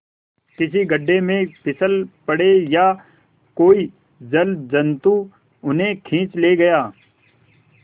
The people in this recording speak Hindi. किसी गढ़े में फिसल पड़े या कोई जलजंतु उन्हें खींच ले गया